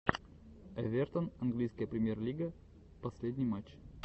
эвертон английская премьер лига последний матч